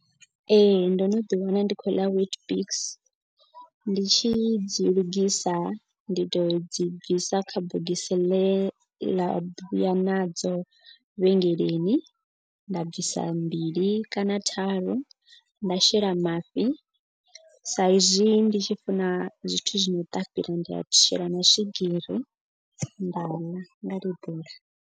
Ee ndo no ḓi wana ndi khou ḽa witbix ndi tshi dzi lugisa. Ndi to dzi bvisa kha bogisi ḽe ḽa vhuya nadzo vhengeleni. Nda bvisa mbili kana tharu nda shela mafhi. Sa izwi ndi tshi funa zwithu zwi no ṱapila ndi a shela na swigiri nda ḽa nga lebula.